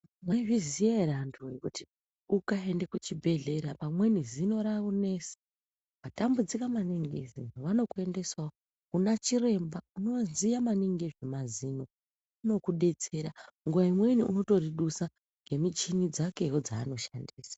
Maizviziva here antu wee kuti ukaende kuchibhedhlera pamweni zino raakunetsa, watambudzika maningi ngezino vanokuendesa kuna chiremba unoziva maningi ngezvemazino unokudetsera nguva imweni unoridusawo ngemishini dzake dzaanoshandisa.